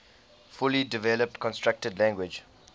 fully developed constructed language